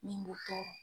Min b'o tɔɔrɔ